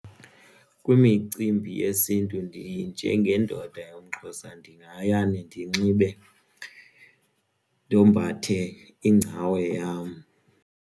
Kwimicimbi yesiNtu ndinjengendoda yomXhosa ndingaya ndinxibe ndombathe ingcawe yam.